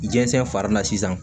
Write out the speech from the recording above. Jɛnsɛn fari na sisan